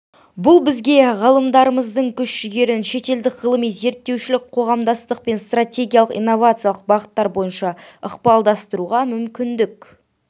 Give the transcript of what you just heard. бұл бізге ғалымдарымыздың күш-жігерін шетелдік ғылыми-зерттеушілік қоғамдастықпен стратегиялық инновациялық бағыттар бойынша ықпалдастыруға мүмкіндік